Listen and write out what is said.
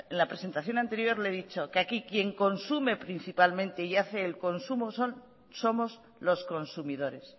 la presentación anterior que aquí quien consume principalmente y hace el consumo somos los consumidores